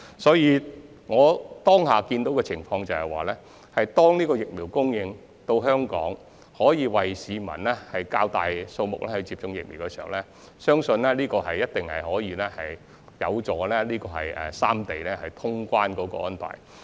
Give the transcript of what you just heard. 所以，我目前預見的情況是，疫苗供應到港後，可以為較大數目的市民接種，相信這一定有助三地恢復通關安排。